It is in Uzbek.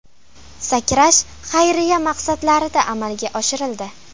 Sakrash xayriya maqsadlarida amalga oshirildi.